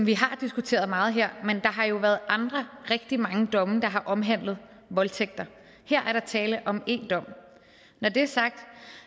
vi har diskuteret meget her men har jo været rigtig mange andre domme der har omhandlet voldtægter her er der tale om én dom når det er sagt